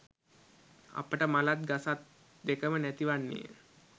අපට මලත් ගසත් දෙකම නැති වන්නේය.